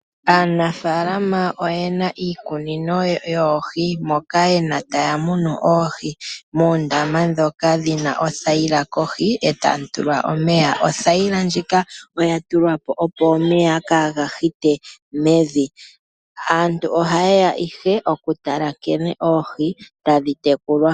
Aanafaalama oyena iikunino yoohi moka haa munumo oohi moondama ndhoka dhina othayila kohi etamu tulwa omeya. Othayila ndjika oya tulwapo opo omeya kaaga hite mevi. Aantu ohayeya ihe okutala nkene oohi tadhi tekulwa.